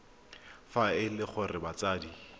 fa e le gore batsadi